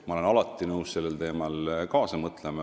Ma olen alati nõus sellel teemal kaasa mõtlema.